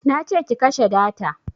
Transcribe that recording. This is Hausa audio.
Nace ki kashe data